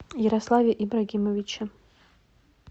ярославе ибрагимовиче